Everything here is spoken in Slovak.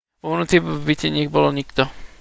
vo vnútri v byte nebol nikto